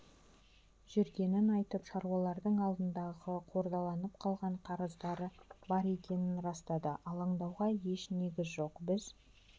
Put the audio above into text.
жүргенін айтып шаруалардың алдындағы қордаланып қалған қарыздары бар екенін растады алаңдауға еш негіз жоқ біз